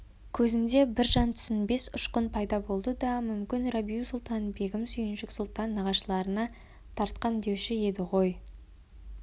көзінде бір жан түсінбес ұшқын пайда болды да мүмкін рабиу-сұлтан-бегім сүйіншік сұлтан нағашыларына тартқандеуші еді ғой